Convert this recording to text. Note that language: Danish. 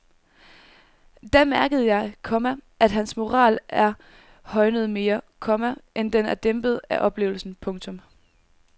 Da mærkede jeg, komma at hans moral er højnet mere, komma end den er dæmpet af oplevelsen. punktum